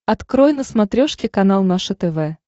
открой на смотрешке канал наше тв